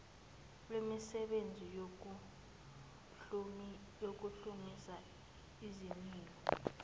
wemisebenzi yokuhlumisa izimilo